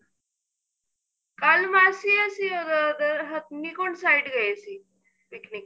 ਕੱਲ ਮਾਸੀ ਅਸੀਂ ਅਹ ਉੱਧਰ ਹਥਨੀ ਕੁੰਡ side ਗਏ ਸੀ picnic